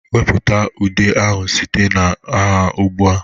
Wepụta ude ahụ site na ha ugbu a!